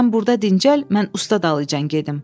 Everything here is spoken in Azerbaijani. Sən burda dincəl, mən usta dalıcan gedim.